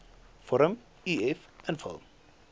vorm uf invul